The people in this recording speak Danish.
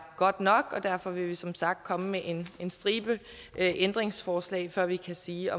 godt nok og derfor vil vi som sagt komme med en en stribe ændringsforslag før vi kan sige